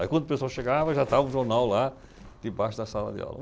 Aí quando o pessoal chegava já estava o jornal lá debaixo da sala de aula.